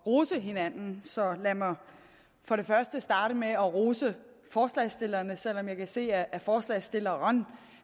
rose hinanden så lad mig for det første starte med at rose forslagsstillerne selv om jeg kan se at forslagsstilleren